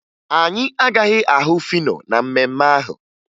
Anyị agaghị ahụ Fino na mmemme ahụ